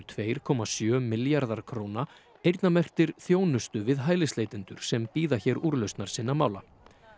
tveir komma sjö milljarðar króna eyrnamerktir þjónustu við hælisleitendur sem bíða hér úrlausnar sinna mála